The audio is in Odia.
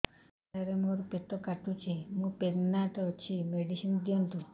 ସାର ମୋର ପେଟ କାଟୁଚି ମୁ ପ୍ରେଗନାଂଟ ଅଛି ମେଡିସିନ ଦିଅନ୍ତୁ